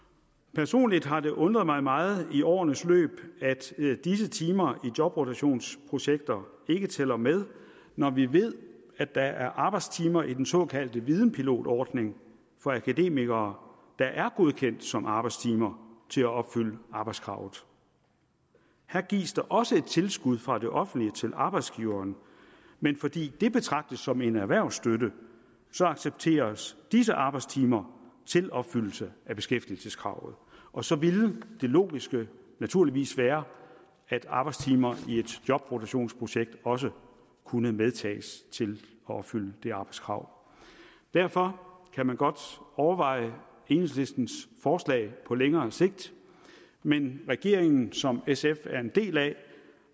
personligt har det undret mig meget i årenes løb at disse timer i jobrotationsprojekter ikke tæller med når vi ved at der er arbejdstimer i den såkaldte videnpilotordning for akademikere der er godkendt som arbejdstimer til at opfylde arbejdskravet her gives der også et tilskud fra det offentlige til arbejdsgiveren men fordi det betragtes som en erhvervsstøtte accepteres disse arbejdstimer til opfyldelse af beskæftigelseskravet og så ville det logiske naturligvis være at arbejdstimer i et jobrotationsprojekt også kunne medtages til at opfylde det arbejdskrav derfor kan man godt overveje enhedslistens forslag på længere sigt men regeringen som sf er en del af